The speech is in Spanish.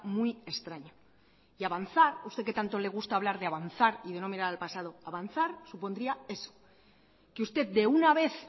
muy extraño y avanzar a usted que tanto le gusta hablar de avanzar y no mirar al pasado avanzar supondría eso que usted de una vez